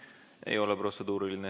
See ei olnud protseduuriline.